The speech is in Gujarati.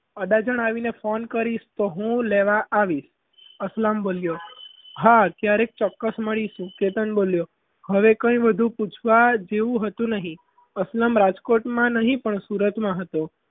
અડાજણ આવીને phone કરે તો હું લેવા આવીશ અસલમ બોલ્યો હા ક્યારેક ચોક્કસ મળીશું કેતન બોલ્યો હવે કંઈ વધુ પૂછવા જેવું હતું નહીં અસલમ રાજકોટમાં નહીં પણ સુરતમાં હતો.